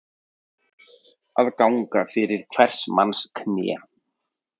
Að ganga fyrir hvers manns kné